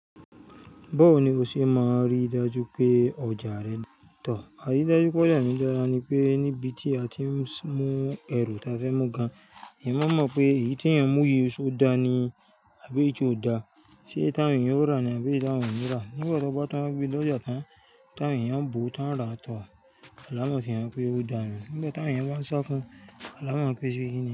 Báwo ni o ṣe máa rí dájú pé ọjà rẹ n tà? Àrídájú pé ọjà mi dára ni pé níbi tí a ti ń mú ẹrù ta fẹ́ mú gan, èèyàn máa mọ̀ pé èyí tí èèyàn mú yìí ṣe ó dáa ni àbí eyii tí ò dáa, ṣe èyí tí àwọn èèyàn óò rà ni àbí tí àwọn èèyàn ò ní rà. Nígbà tó gbọ́ tán gbé dé ọjà tán, tí àwọn èèyàn ń bọ̀ tán rà, tọ̀, alámọ̀ fi hàn pé ó dáa nù. Nígbà tí àwọn èèyàn bá ń sá fún, alámọ̀ pè ó ṣe kí ni.